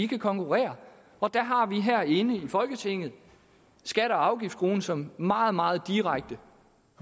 kan konkurrere og der har vi her i folketinget skatte og afgiftsskruen som et meget meget direkte